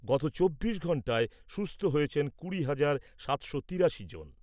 গত চব্বিশ ঘন্টায় সুস্থ হয়েছেন কুড়ি হাজার সাতশো তিরাশি জন।